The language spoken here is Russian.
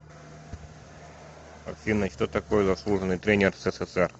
афина что такое заслуженный тренер ссср